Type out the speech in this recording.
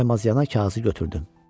Saymazyana kağızı götürdüm.